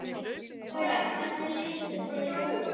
Lára: Hvernig litu þeir út?